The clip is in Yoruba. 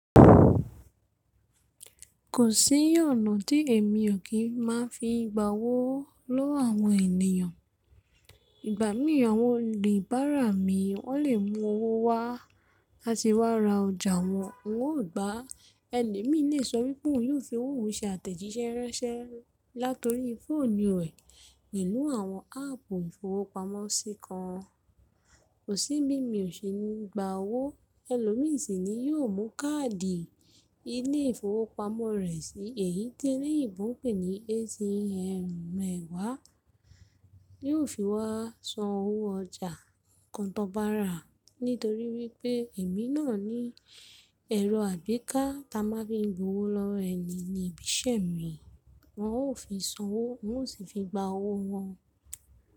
Kò sí ọ̀nà tí èmi ò kí má fi gba owó lọ́wọ́ àwọn ènìyàn. Ìgbà mí àwọn olùbárà mi wọ́n lè mú owó wá láti wá ra ọjà wọn, wọn ò gbàá. Ẹlomi lè sọ wípé òhun yóò fi owó òhun se àtẹ̀jíṣẹ́ ránṣẹ́ láti orí fóònù rẹ̀, pelu àwọn áàpù ìfowópamọ́sí kan. Kò sí, bí mi ò ṣe ní gba owó. Ẹlòmí sì ni, yóò mú káàdì ilé ìfowópamọ́ rẹ̀ sí èyí tó lẹ́yìnbún pé ni ATM re waa. Yóò fi wá san owó ọjà nǹkan tó bá rà, nítorí wípé èmi náà ní ẹ̀rọ àgbéká ta máa ń fi gbo owó lọ́wọ́ ẹni níbi iṣẹ́ mi. Wọn ò fi san owó, wọn ò sì fi gba owó wọn.